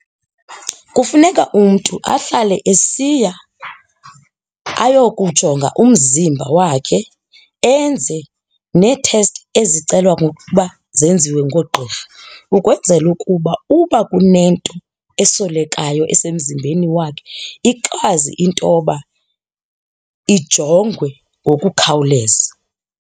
Kufuneka umntu ahlale esiya ayokujonga umzimba wakhe enze neethesti ezicelwa ngokuba zenziwe ngoogqirha ukwenzela ukuba uba kunento esolekayo esemzimbeni wakhe ikwazi intoba ijongwe ngokukhawuleza.